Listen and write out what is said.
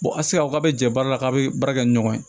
a ti se ka fɔ k'a bɛ jɛ baara la k'a bɛ baara kɛ ni ɲɔgɔn ye